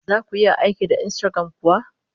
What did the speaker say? Zaku iya aiki da Instagram kuwa?